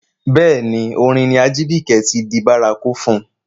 Bẹ́ẹ̀ ni, orin ni Ajibike ti di bárakú fún.